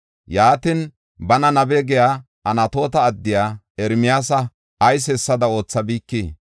Yaatin bana nabe giya Anatoota addiya Ermiyaasa ayis hessada oothabikii?